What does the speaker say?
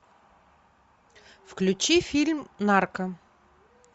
включи фильм нарко